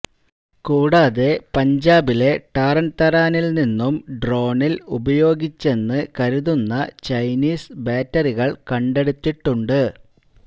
കൂടാതെ പഞ്ചാബിലെ ടാര്ന് തരാനില് നിന്നും ഡ്രോണില് ഉപയോഗിച്ചെന്ന് കരുതുന്നു് ചൈനീസ് ബാറ്ററികള് കണ്ടെടുത്തിട്ടുണ്ട്